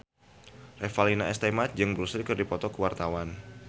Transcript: Revalina S. Temat jeung Bruce Lee keur dipoto ku wartawan